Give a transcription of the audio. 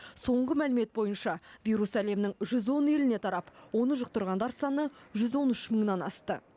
соңғы мәлімет бойынша вирус әлемнің жүз он еліне тарап оны жұқтырғандар саны жүз он үш мыңнан асты